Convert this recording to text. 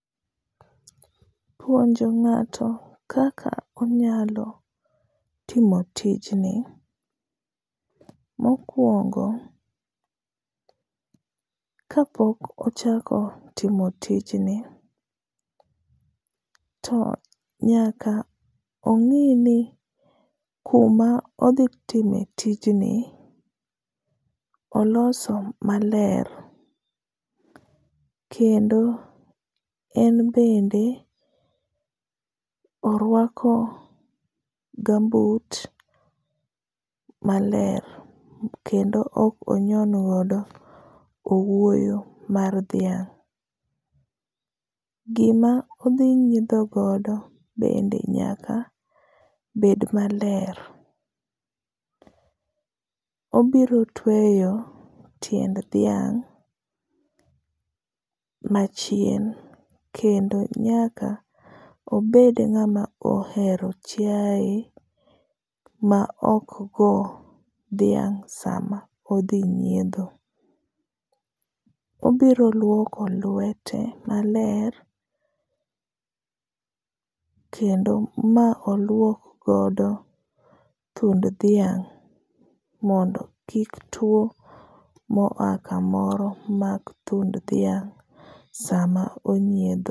Puonjo ng'ato kaka onyalo timo tijni. Mokwongo, kapok ochako timo tijni to nyaka ong'i ni kuma odhi time tijni oloso maler kendo en bende oruako gumboot maler kendo ok onyon godo owuoyo mar dhiang. Gima odhi nyiedho godo bende nyaka bed maler. Obiro tweyo tiend dhing’ machien kendo nyaka obed ng’ama ohero chiae ma okgo dhiang’ sama odhi nyiedho. Obiro luoko lwete maler kendo ma oluok godo thund dhiang’, mondo kik tuo mo a kamoro mak dhiang’ sama onyiedho.